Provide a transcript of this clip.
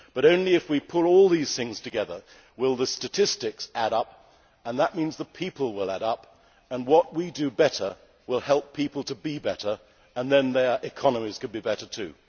Only if we pull all these things together will the statistics add up and that means the people will add up. What we do better will help people to be better, and then their economies could be better too.